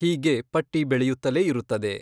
ಹೀಗೆ ಪಟ್ಟಿ ಬೆಳೆಯುತ್ತಲೇ ಇರುತ್ತದೆ.